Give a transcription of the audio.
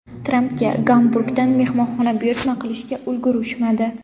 Trampga Gamburgdan mehmonxona buyurtma qilishga ulgurishmadi.